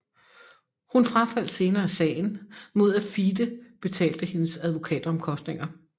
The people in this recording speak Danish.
Hun frafaldt senere sagen mod at FIDE betalte hendes advokatomkostninger